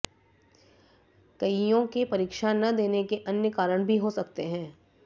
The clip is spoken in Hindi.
कइयों के परीक्षा न देने के अन्य कारण भी हो सकते हैं